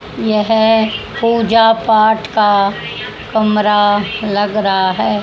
यह पूजा पाठ का कमरा लग रहा है।